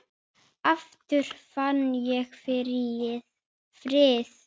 Aftur fann ég frið.